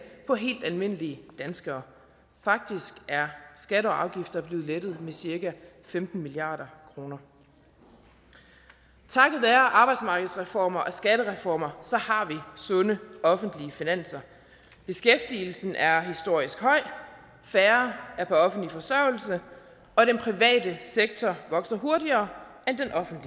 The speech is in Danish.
for helt almindelige danskere faktisk er skatter og afgifter blevet lettet med cirka femten milliard kroner takket være arbejdsmarkedsreformer og skattereformer har vi sunde offentlige finanser beskæftigelsen er historisk høj færre er på offentlig forsørgelse og den private sektor vokser hurtigere